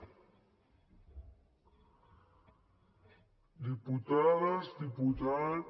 diputades diputats